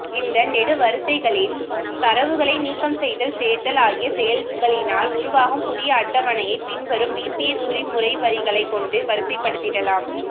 இந்த நெடுவரிசைகளில் தரவுகளை நீக்கம்செய்தல் சேர்த்தல் ஆகிய செயல்களினால் உருவாகும் புதிய அட்டவணையை பின்வரும் விபிஏகுறிமுறைவரிகளை கொண்டு வரிசைபடுத்திடலாம்